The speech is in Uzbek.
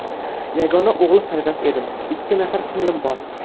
Yagona o‘g‘il farzand edim, ikki nafar singlim bor.